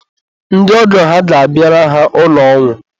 ndị ọgọ ha ga-abịara ha ụlọ ọnwụ.